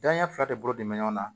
Daɲɛ fila de bolo mɛ ɲɔgɔn na